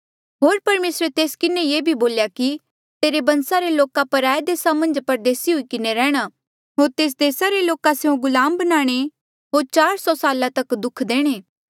होर परमेसरे तेस किन्हें ये भी बोल्या कि तेरे बंसा रे लोका पराये देसा मन्झ परदेसी हुई किन्हें रैंह्णां होर तेस देसा रे लोका स्यों गुलाम बनाणे होर चार सौ साला तक दुख देणे